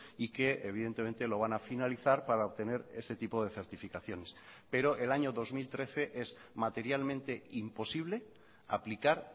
y que evidentemente lo van a finalizar para obtener ese tipo de certificaciones pero el año dos mil trece es materialmente imposible aplicar